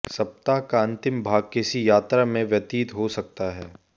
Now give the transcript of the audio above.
सप्ताह का अंतिम भाग किसी यात्रा में व्यतीत हो सकता है